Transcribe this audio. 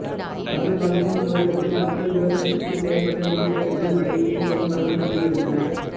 சங்க காலத்தின் துவக்கத்தில் மக்கள் விவசாயத்திற்கு தேவைப்பட்ட நீர்த் தேவைக்கு மழையையே பெருமளவு நம்பி இருந்தனர்